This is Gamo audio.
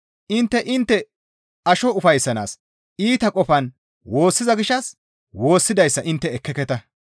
Intte intte asho ufayssanaas iita qofan woossiza gishshas woossidayssa intte ekkeketa.